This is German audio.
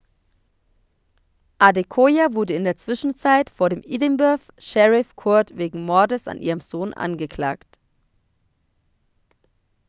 adekoya wurde in der zwischenzeit vor dem edinburgh sheriff court wegen mordes an ihrem sohn angeklagt